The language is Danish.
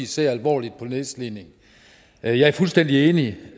ser alvorligt på nedslidning jeg er fuldstændig enig